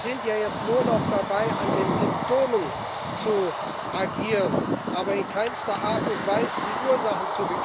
Sie sind ja jetzt nur noch dabei, an den Symptomen zu agieren, bekämpfen aber in keinster Art und Weise die Ursachen.